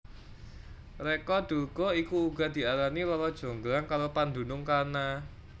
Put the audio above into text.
Reca Durga iku uga diarani Rara Jonggrang karo pandunung kana